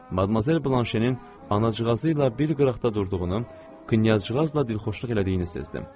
Madmazel Blanşenin anacığı ilə bir qıraqda durduğunu knyazcığazla dilxoşluq elədiyini hiss etdim.